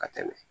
Ka tɛmɛ